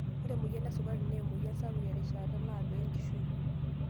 Ore emoyian esukari naa emoyian saouk erishata naado enkishui.